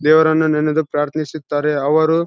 ದೇವರನ್ನು ನೆನೆಸದು ಪ್ರಾರ್ಥಿನಿಸುತ್ತಾರೆ ಅವರು--